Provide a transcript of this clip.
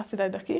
A cidade daqui?